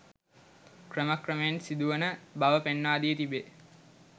ක්‍රම ක්‍රමයෙන් සිදු වන බව පෙන්වා දී තිබේ.